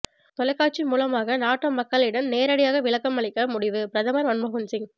தொலைக்காட்சி மூலமாக நாட்டு மக்களிடம் நேரடியாக விளக்கம் அளிக்க முடிவு பிரதமர் மன்மோகன் சிங்